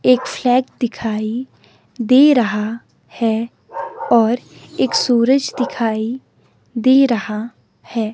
एक फ्लैग दिखाइ दे रहा है और एक सूरज दिखाई दे रहा है।